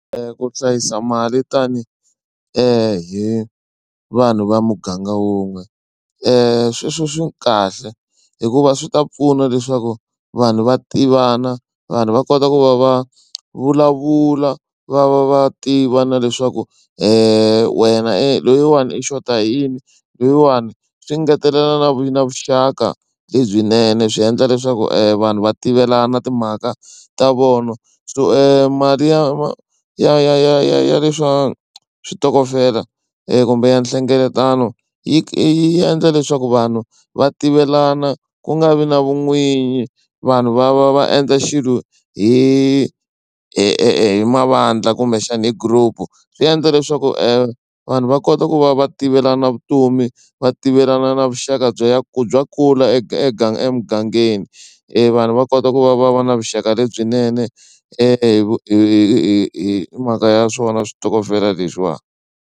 Ku hlayisa mali tanihi hi vanhu va muganga wun'we sweswo swi kahle hikuva swi ta pfuna leswaku vanhu va tivana vanhu va kota ku va va vulavula va va va tiva na leswaku wena e loyiwani i xota hi yini loyiwani swi ngetelela na vu na vuxaka lebyinene swi endla leswaku vanhu va tivelana timhaka ta vona so mali ya ya ya ya ya ya le swa switokofela kumbe ya nhlengeletano yi endla leswaku vanhu va tivelana ku nga vi na vun'winyi vanhu va va va endla xilo hi mavandla kumbexana hi group. Swi endla leswaku vanhu va kota ku va va tivelana vutomi va tivelana na vuxaka bya ku bya kula emugangeni vanhu va kota ku va va va na vuxaka lebyinene hi mhaka ya swona switokofela leswiwani.